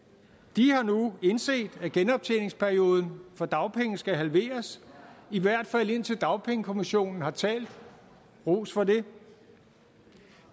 de har nu indset at genoptjeningsperioden for dagpenge skal halveres i hvert fald indtil dagpengekommissionen har talt ros for det